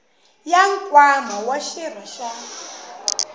ya nkwama wa xirho xa